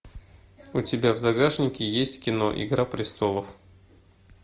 у тебя в загашнике есть кино игра престолов